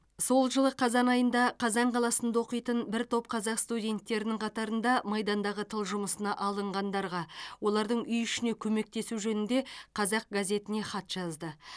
сол жылы қазан айында қазан қаласында оқитын бір топ қазақ студенттерінің қатарында майдандағы тыл жұмысына алынғандарға олардың үй ішіне көмектесу жөнінде қазақ газетіне хат жазды